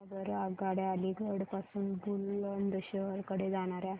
सांगा बरं आगगाड्या अलिगढ पासून बुलंदशहर कडे जाणाऱ्या